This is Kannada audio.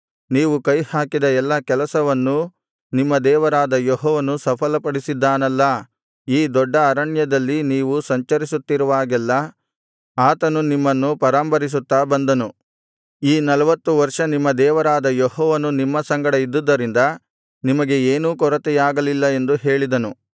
ನೀವು ಕೈಹಾಕಿದ ಎಲ್ಲಾ ಕೆಲಸಗಳನ್ನೂ ನಿಮ್ಮ ದೇವರಾದ ಯೆಹೋವನು ಸಫಲಪಡಿಸಿದ್ದಾನಲ್ಲಾ ಈ ದೊಡ್ಡ ಅರಣ್ಯದಲ್ಲಿ ನೀವು ಸಂಚರಿಸುತ್ತಿರುವಾಗೆಲ್ಲಾ ಆತನು ನಿಮ್ಮನ್ನು ಪರಾಂಬರಿಸುತ್ತಾ ಬಂದನು ಈ ನಲ್ವತ್ತು ವರ್ಷ ನಿಮ್ಮ ದೇವರಾದ ಯೆಹೋವನು ನಿಮ್ಮ ಸಂಗಡ ಇದ್ದುದರಿಂದ ನಿಮಗೆ ಏನೂ ಕೊರತೆಯಾಗಲಿಲ್ಲ ಎಂದು ಹೇಳಿದನು